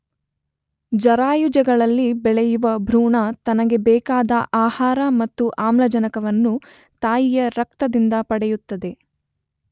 ಜರಾಯುಜಗಳಲ್ಲಿ ಬೆಳೆಯುವ ಭ್ರೂಣ ತನಗೆ ಬೇಕಾದ ಆಹಾರ ಮತ್ತು ಆಮ್ಲಜನಕವನ್ನು ತಾಯಿಯ ರಕ್ತದಿಂದ ಪಡೆಯುತ್ತದೆ.